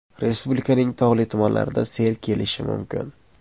Respublikaning tog‘li tumanlarida sel kelishi mumkin.